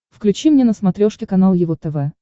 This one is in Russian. включи мне на смотрешке канал его тв